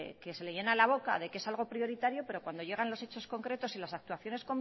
que se le llena la boca de que es algo prioritario pero cuando llegan los hechos concretos y las actuaciones